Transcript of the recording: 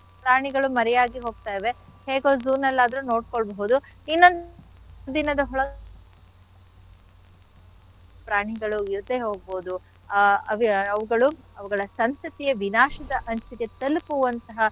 ಪ್ರಾಣಿಗಳು ಮರೆಯಾಗಿ ಹೋಗ್ತಾ ಇವೆ ಹೇಗೋ zoo ನಲ್ ಆದ್ರೂ ನೋಡ್ಕೊಳ್ಬೋದು. ಇನ್ನೊಂದ್ ದಿನದ ಪ್ರಾಣಿಗಳು ಇರ್ದೆ ಹೋಗ್ಬೋದು ಆ ಅವು~ ಅವುಗಳು ಅವುಗಳ ಸಂತತಿಯ ವಿನಾಶದ ಅಂಚಿಗೆ ತಲ್ಪುವಂಥಹ.